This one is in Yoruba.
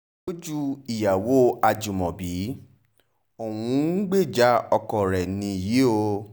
lójú ìyàwó ajímọ́bí òun ń gbèjà ọkọ rẹ̀ nìyí o